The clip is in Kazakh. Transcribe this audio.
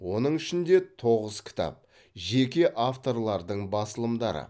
оның ішінде тоғыз кітап жеке авторлардың басылымдары